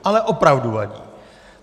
Ale opravdu vadí!